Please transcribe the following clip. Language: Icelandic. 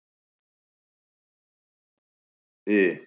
I